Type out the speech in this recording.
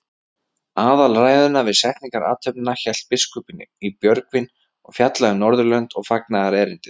Aðalræðuna við setningarathöfnina hélt biskupinn í Björgvin og fjallaði um Norðurlönd og fagnaðarerindið.